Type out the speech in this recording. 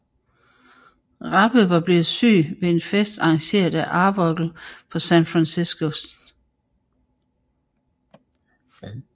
Rappe var blevet syg ved en fest arrangeret af Arbuckle på San Franciscos St